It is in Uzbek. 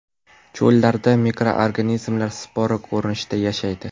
Cho‘llarda mikroorganizmlar spora ko‘rinishida yashaydi.